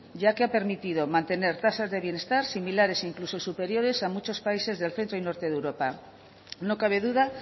ya que ha permitido mantener tasas de bienestar similares o incluso superiores a muchos países del centro y norte de europa no cabe duda